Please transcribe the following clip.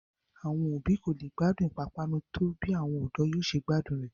Àwọn òbí wa kò lè gbádùn pápánu tó bí àwọn ọ̀dọ́ yóò ṣe gbádùn rẹ̀